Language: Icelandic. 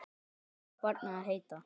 Hvað á barnið að heita?